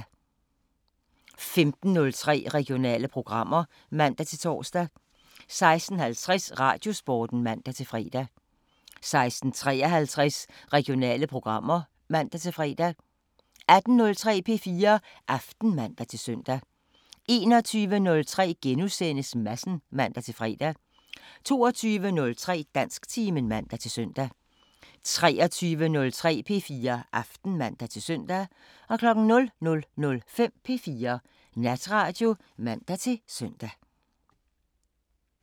15:03: Regionale programmer (man-tor) 16:50: Radiosporten (man-fre) 16:53: Regionale programmer (man-fre) 18:03: P4 Aften (man-søn) 21:03: Madsen *(man-fre) 22:03: Dansktimen (man-søn) 23:03: P4 Aften (man-søn) 00:05: P4 Natradio (man-søn)